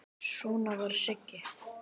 Svona var Siggi.